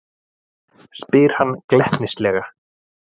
spyr hann glettnislega.